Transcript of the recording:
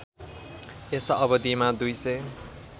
यस अवधिमा दुईसय